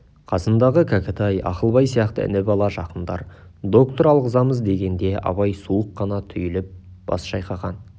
қасындағы кәкітай ақылбай сияқты іні-бала жақындар доктор алғызамыз дегенде абай суық қана түйіліп бас шайқаған